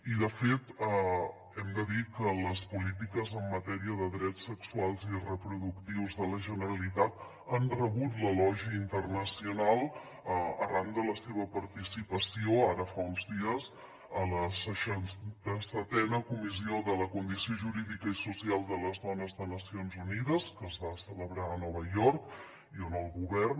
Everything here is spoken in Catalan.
i de fet hem de dir que les polítiques en matèria de drets sexuals i reproductius de la generalitat han rebut l’elogi internacional arran de la seva participació ara fa uns dies a la seixanta setena comissió de la condició jurídica i social de la dona de nacions unides que es va celebrar a nova york i on el govern